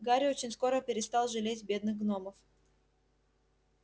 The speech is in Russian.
гарри очень скоро перестал жалеть бедных гномов